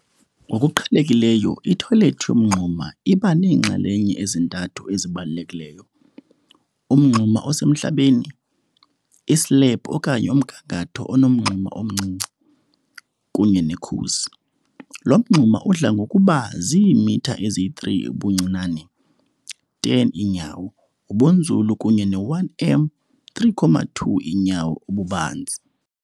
Ngokuqhelekileyo ithoyilethi yomngxuma iba neenxalenye ezintathu ezibalulekileyo - umngxuma osemhlabeni, islebhu okanye umgangatho onomngxuma omncinci, kunye nekhusi. Lo mngxuma udla ngokuba ziimitha eziyi-3 ubuncinane, 10 iinyawo, ubunzulu kunye ne-1 m, 3.2 iinyawo, ububanzi.